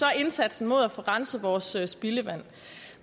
indsatsen med at få renset vores spildevand